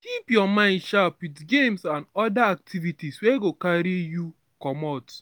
keep your mind sharp with games and and oda activities wey go carry you comot